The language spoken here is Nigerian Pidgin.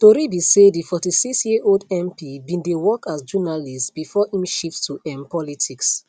tori be say di 46 year old mp bin dey work as journalist bifor im shift to um politics